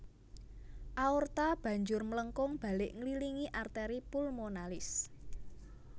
Aorta banjur mlengkung balik ngililingi arteri pulmonalis